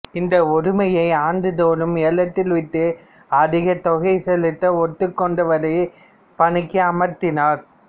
இந்த உரிமையை ஆண்டுதோறும் ஏலத்தில்விட்டு அதிகத் தொகை செலுத்த ஒத்துக்கொண்டவரையே பணிக்கு அமர்த்தினர்